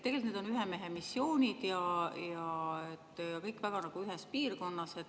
Tegelikult on need ühemehemissioonid ja kõik nad on nagu väga ühes piirkonnas.